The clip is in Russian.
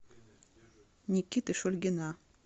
никиты шульгина